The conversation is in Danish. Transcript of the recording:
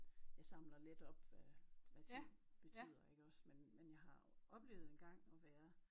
Jeg samler lidt op hvad hvad ting betyder iggås men men jeg har oplevet engang at være